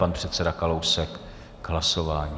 Pan předseda Kalousek k hlasování.